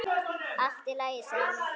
Allt í lagi, sagði Emil.